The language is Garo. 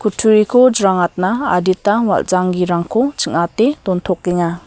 kutturiko jrangatna adita wal·janggirangko ching·ate dontokenga.